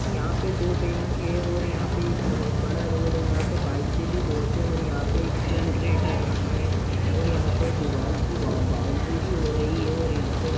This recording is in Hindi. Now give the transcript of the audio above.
यहां पे दो बैंक है और यहा पे बहुत बड़ा रोड है यहा पे बाइक ब से होते है यहा पे जनरेटर रखा है और यहा पे दीवाल की बाउंड्री भि हो रही हैऔर यहा पे --